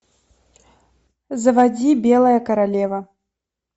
заводи белая королева